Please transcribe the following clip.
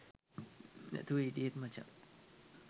නැතුව හිටියේ මචන්.